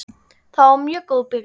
Það var mjög góð byrjun.